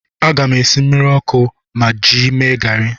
Aga m esi mmiri ọkụ m ga-eji mee garị.